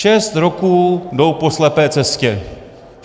Šest roků jdou po slepé cestě.